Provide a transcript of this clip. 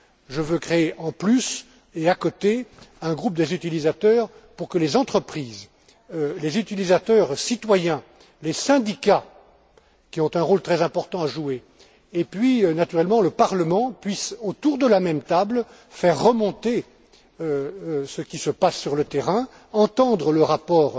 Je veux créer en plus et à côté un groupe des utilisateurs pour que les entreprises, les utilisateurs citoyens, les syndicats, qui ont un rôle très important à jouer, et puis naturellement le Parlement puissent, autour de la même table, faire remonter ce qui se passe sur le terrain, entendre le rapport